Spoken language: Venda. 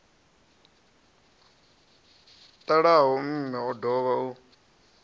ṱalaho mme o dovha u